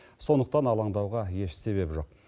сондықтан алаңдауға еш себеп жоқ